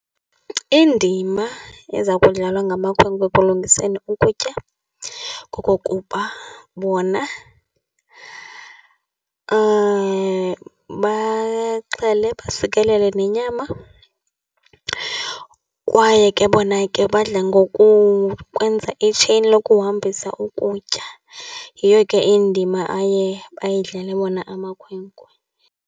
Indima eza kudlalwa ngamakhwenkwe ekulungiseni ukutya kokokuba bona baxhelele, basisikelele nenyama, kwaye ke bona ke badla ngokukwenza itsheyini lokuhambisa ukutya. Yiyo ke indima aye bayidlala wona amakhwenkwe.